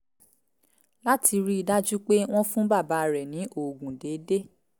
láti rí i dájú pé wọ́n ń fún bàbá rẹ̀ ní oògùn déédéé